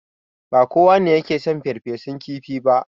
Ba kowa ne yake son farfesun kifi ba.